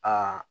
Aa